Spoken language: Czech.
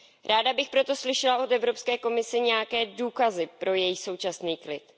Ráda bych proto slyšela od Evropské komise nějaké důkazy pro její současný klid.